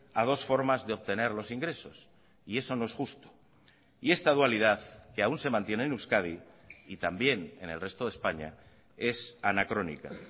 a dos formas de obtener los ingresos y eso no es justo y esta dualidad que aún se mantiene en euskadi y también en el resto de españa es anacrónica